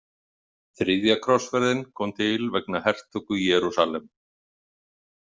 Þriðja krossferðin kom til vegna hertöku Jerúsalem.